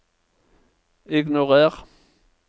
ignorer